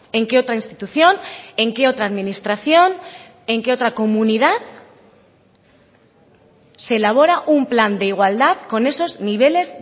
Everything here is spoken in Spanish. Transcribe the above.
en qué otra institución en qué otra administración en qué otra comunidad se elabora un plan de igualdad con esos niveles